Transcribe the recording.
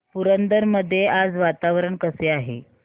पुरंदर मध्ये आज वातावरण कसे आहे